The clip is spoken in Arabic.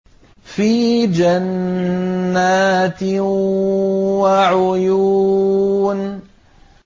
فِي جَنَّاتٍ وَعُيُونٍ